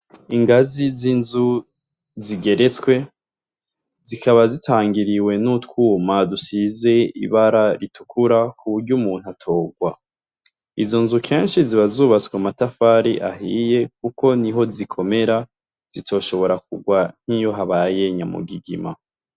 Ingazi z'inzu zigeretswe zikaba zitangiriwe n'utwuma dusize ibara ritukura kuburyo umuntu atogwa, izo nzu kenshi ziba zubatswe mumatafari ahiye kuko niho zikomera zitoshobora kugwa nk'iyo habaye nyamugigima.